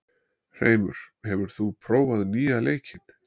Hreimur, hefur þú prófað nýja leikinn?